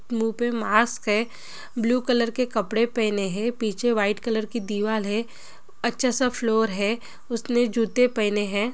मूह पे मास्क है ब्लू कलर के कपड़े पहेने है| पीछे व्हाइट कलर की दीवाल है अच्छा सा फ्लोर हे उसने जूते पहने है ।